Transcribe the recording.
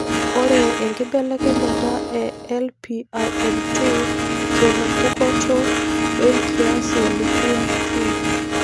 ore enkibelekenyata e LPIN2 genepukunoto wenkias e lipin 2.